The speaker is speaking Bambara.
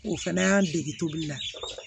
O fɛnɛ y'an dege tobili la